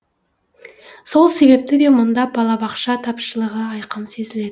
сол себепті де мұнда балабақша тапшылығы айқын сезіледі